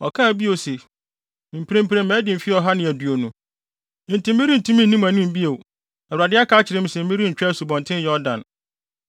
ɔkaa bio se, “Mprempren madi mfe ɔha ne aduonu, nti merentumi nni mo anim bio. Awurade aka akyerɛ me sɛ merentwa Asubɔnten Yordan.